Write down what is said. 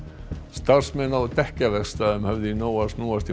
starfsmenn á höfðu í nógu að snúast í